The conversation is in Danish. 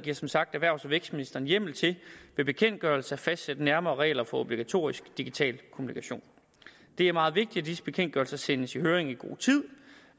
giver som sagt erhvervs og vækstministeren hjemmel til ved bekendtgørelse at fastsætte nærmere regler for obligatorisk digital kommunikation det er meget vigtigt at disse bekendtgørelser sendes i høring i god tid